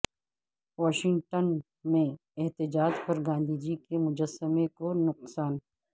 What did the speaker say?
Washington میں احتجاج پر گاندھی جی کے مجسمہ کو نقصان